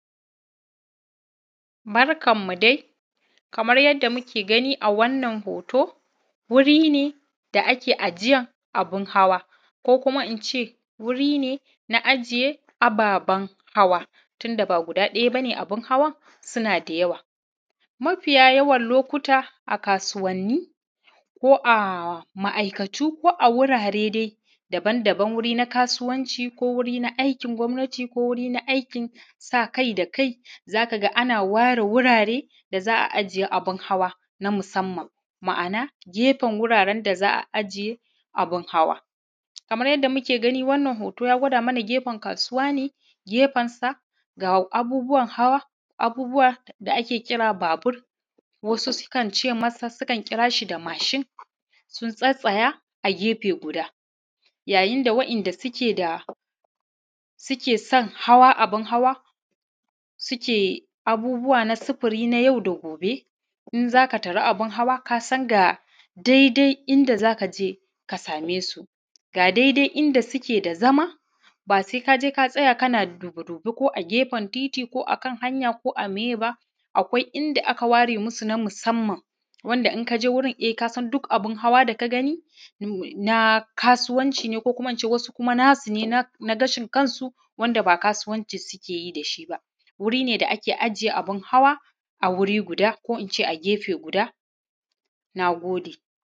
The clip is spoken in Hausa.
Barkanmu dai kamar yadda muke gani a wannan hoto wuri ne da ake ajiyar abubuwa hawa ko kuma in ce wuri ne na ajiye ababen hawa tun da ba guda daya ce abun hawan suna da yawa mafiya yawan lokuta a kasuwanni ko a ma'aikatu ko a wurare dai daban-daban wuri na kasuwanci ko wuri na aiki gwamnati ko wuri na aikin sa kai da kai ake ware wurare da za a ajiya abun hawa na musamman. Ma'ana gefen wuraren da za a ajiye abun hawa ma'ana gefen wuraren da za a ajiye abun hawa kamar yadda muke gani Wannan hoto ya gwada mana gefen kasuwa ne gefen sa ga abubuwan hawa abubuwa da ake kira babur wasu sukan kira shi da mashin sun tsattsaya yayin da waɗanda suke gefe guda inda waɗanda suke Son hawa abun hawa suke abubuwa na sufuri na yau da gobe in za ka tara abun hawa kasan ga daidai inda za ka je ka same su ga daidai inda suke da zama sai ka je katsaya kana duƙune ko a gefen titi ko akan hanya ko a meye ba, akwai inda aka ware musu na musamman wanda in ka je wurin kasan duk abun hawa idan ka gani na kasuwanci ne ko ko kuma in ce wasu na su ne na gashin kansu wanda ba kasuwanci suke yi da shi ba. Wuri ne da ake ajiye abun hawa a wuri guda ko in ce a gefe guda. Na gode.